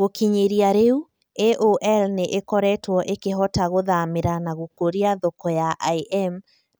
Gũkinyĩria rĩu, AOL nĩ ĩkoretwo ĩkĩhota gũthamĩra na gũkũria thoko ya IM